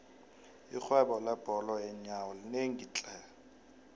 irhwebo lebhola yeenyawo linemali tlhe